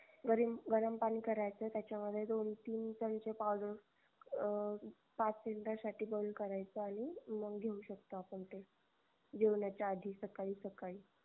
गरम पानी करायचं त्याच्यामध्ये दोन तीन चमचे powder अं पाच मिनिटासाठी बंद करायचं आणि मग घेऊ शकतो आपण ते जेवण्याचा आधी सकळी सकळी